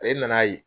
Ale nan'a ye